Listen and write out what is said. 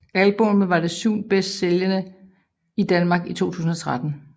Albummet var det syvende bedst sælgende i Danmark i 2013